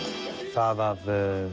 það að